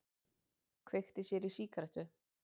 Kveikti sér í sígarettu.